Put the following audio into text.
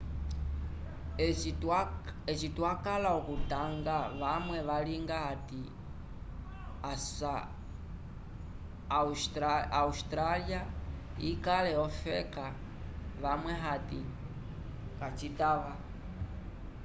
eci twakala okutanga vamwe valinga ati o awstralya hikale ofeka vamwe ati acitava